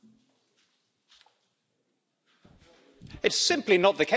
It's simply not the case that I repeatedly said that during the election campaign.